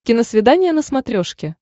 киносвидание на смотрешке